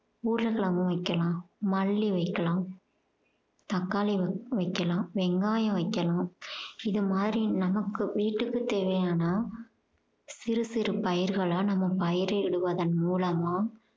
உருளைக்கிழங்கும் வைக்கலாம் மல்லி வைக்கலாம் தக்காளி வைக்கலாம் வெங்காயம் வைக்கலாம் இது மாதிரி நமக்கு வீட்டுக்கு தேவையான சிறு சிறு பயிர்களா நம்ம பயிரிடுவதன் மூலமா